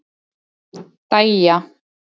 Dæja